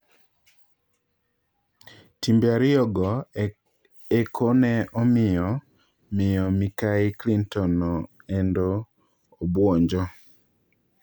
Timbe ariyo go eko ne omiyo miyo Mikai Clinton no endo obuonjo.